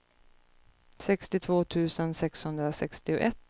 sextiotvå tusen sexhundrasextioett